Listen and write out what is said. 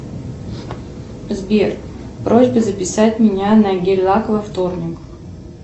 сбер просьба записать меня на гель лак во вторник